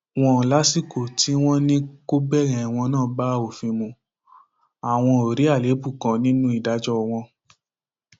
wòn lásìkò tí wọn ní kó bẹrẹ ẹwọn náà bá òfin mu àwọn ò rí àléébù kan nínú ìdájọ wọn